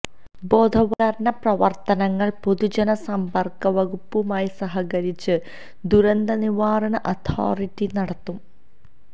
ബോധവല്ക്കരണ പ്രവര്ത്തനങ്ങള് പൊതുജന സമ്പര്ക്ക വകുപ്പുമായി സഹകരിച്ച് ദുരന്തനിവാരണ അതോറിറ്റി നടത്തും